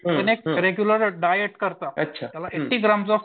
regular diet करतात त्यामुळे eighty grams of